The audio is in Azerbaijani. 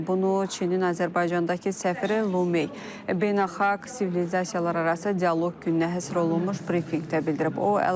Bunu Çinin Azərbaycandakı səfiri Lume Beynəlxalq Sivilizasiyalararası Dialoq gününə həsr olunmuş brifinqdə bildirib.